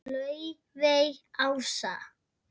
Laufey Ása.